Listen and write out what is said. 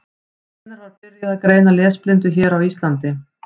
Hvenær var byrjað að greina lesblindu hér á Íslandi?